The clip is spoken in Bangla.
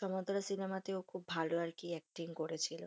সমান্তরাল সিনেমা তে খুব ভালো acting করেছিল।